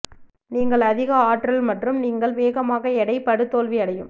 நீங்கள் அதிக ஆற்றல் மற்றும் நீங்கள் வேகமாக எடை படு தோல்வி அடையும்